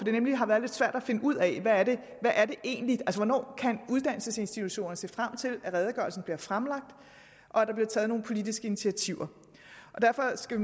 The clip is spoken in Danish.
har nemlig været lidt svært at finde ud af hvornår kan uddannelsesinstitutionerne se frem til at redegørelsen bliver fremlagt og at der bliver taget nogle politiske initiativer derfor skal